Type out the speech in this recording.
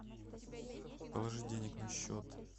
положить денег на счет